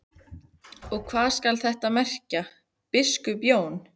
Og hvað skal þetta merkja, biskup Jón?